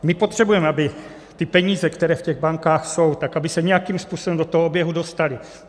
My potřebujeme, aby ty peníze, které v těch bankách jsou, tak aby se nějakým způsobem do toho oběhu dostaly.